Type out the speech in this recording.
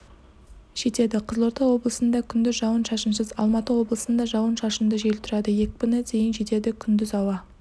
жетеді қызылорда облысында күндіз жауын-шашынсыз алматы облысында жауын-шашынды жел тұрады екпіні дейін жетеді күндіз ауа